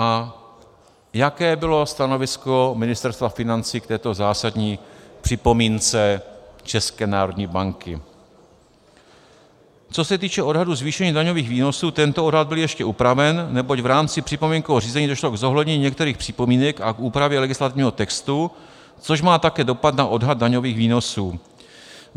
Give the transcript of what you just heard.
A jaké bylo stanovisko Ministerstva financí k této zásadní připomínce České národní banky: Co se týče odhadů zvýšení daňových výnosů, tento odhad byl ještě upraven, neboť v rámci připomínkového řízení došlo k zohlednění některých připomínek a k úpravě legislativního textu, což má také dopad na odhad daňových výnosů.